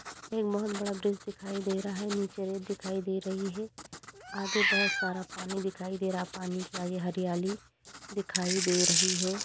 एक बहोत बड़ा ब्रिज दिखाई दे रहा है नीचे रेत दिखाई दे रही है | आगे बहोत सारा पानी दिखाई दे रहा है पानी के आगे हरियाली दिखाई दे रही है ।